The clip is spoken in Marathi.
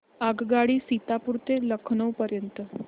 आगगाडी सीतापुर ते लखनौ पर्यंत